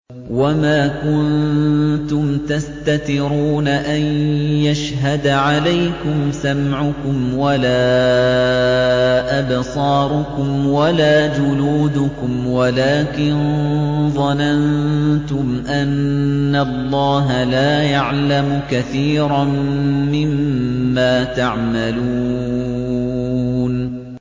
وَمَا كُنتُمْ تَسْتَتِرُونَ أَن يَشْهَدَ عَلَيْكُمْ سَمْعُكُمْ وَلَا أَبْصَارُكُمْ وَلَا جُلُودُكُمْ وَلَٰكِن ظَنَنتُمْ أَنَّ اللَّهَ لَا يَعْلَمُ كَثِيرًا مِّمَّا تَعْمَلُونَ